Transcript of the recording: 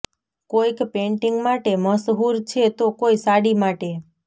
કોઈક પેન્ટિંગ માટે મશહૂર છે તો કોઈ સાડી માટે